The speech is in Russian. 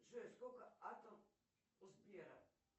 джой сколько атом у сбера